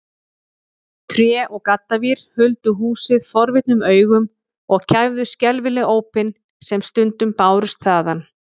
Tré og gaddavír huldu húsið forvitnum augum og kæfðu skelfileg ópin sem stundum bárust þaðan.